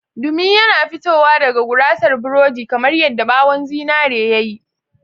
Dumi yana fitowa daga gurasar burodi kamar yadda ɓawon zinare ya yi.